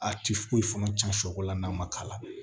A ti foyi fana cɛn sɔkɔlan n'a ma k'a la